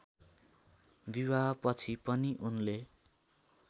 विवाहपछि पनि उनले